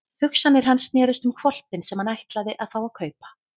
Hugsanir hans snerust um hvolpinn sem hann ætlaði að fá að kaupa.